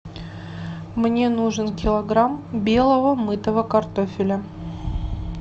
мне нужен килограмм белого мытого картофеля